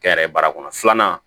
Kɛ yɛrɛ baara kɔnɔ filanan